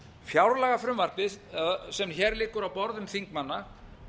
fjárlagafrumvarpið sem hér liggur á borðum þingmanna